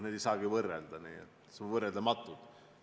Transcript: Neid ei saagi võrrelda, nad on võrreldamatud.